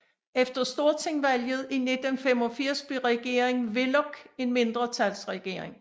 Efter stortingsvalget i 1985 blev regeringen Willoch en mindretalsregering